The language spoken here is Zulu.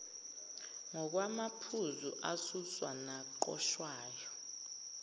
ngokwamaphuzu asuswa naqoshwayo